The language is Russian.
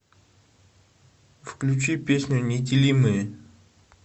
включи песню неделимые